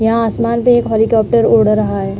यहाँ आसमान पे एक हौलीकॉप्टर उड़ रहा है।